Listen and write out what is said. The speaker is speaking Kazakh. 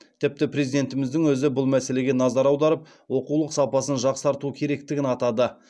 тіпті президентіміздің өзі бұл мәселеге назар аударып оқулық сапасын жақсарту керектігін атады